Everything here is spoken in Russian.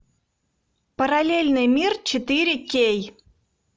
параллельный мир четыре кей